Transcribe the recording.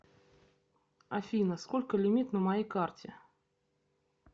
афина сколько лимит на моей карте